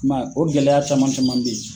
I man ye o gɛlɛya caman caman bɛ ye.